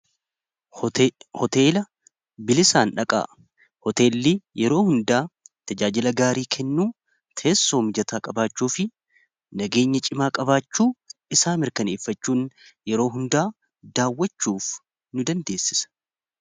Hoteela bilisaan dhaqaa. Hoteellii yeroo hundaa tajaajila gaarii kennuu teessoo mijataa qabaachuu fi nageenya cimaa qabaachuu isaa mirkaneeffachuun yeroo hundaa daawwachuuf nu dandeessisa.